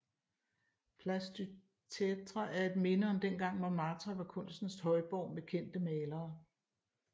Place du Tertre er et minde om dengang Montmartre var kunstens højborg med kendte malere